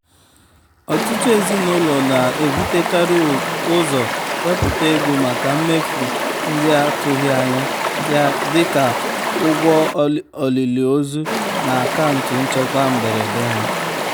ọtụtụ ezinụlọ na-ebutekarị ụzọ wepụta ego maka mmefu ndị atụghị anya ya dịka ụgwọ olili ozu na akaụntụ nchekwa mberede ha.